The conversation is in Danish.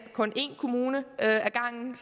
kun i én kommune ad gangen